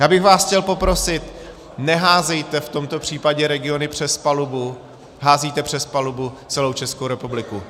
Já bych vás chtěl poprosit, neházejte v tomto případě regiony přes palubu, házíte přes palubu celou Českou republiku.